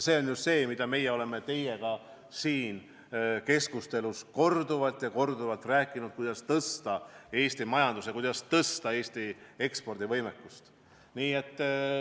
See on ju see, millest meie oleme siin keskustelus korduvalt ja korduvalt rääkinud, et on vaja arendada Eesti majandust ja parandada Eesti ekspordivõimekust.